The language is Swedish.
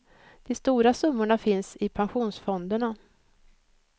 De stora summorna finns i pensionsfonderna.